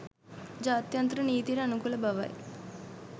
ජාත්‍යන්තර නීතියට අනුකූල බවයි